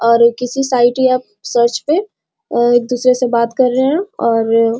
और किसी साइट या सर्च पे अ एक दूसरे से बात कर रहे है और --